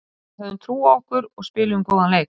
Við höfðum trú á okkur og spiluðum góðan leik.